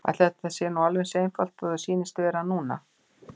Ætli þetta sé nú alveg eins einfalt og þér sýnist það vera núna.